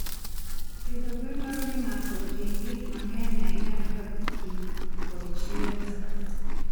Pidho gwen dwaro ni ng'ato oti gi gik mang'eny ahinya kaka pi kod chiemo.